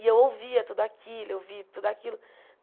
E eu ouvia tudo aquilo, eu vi tudo aquilo.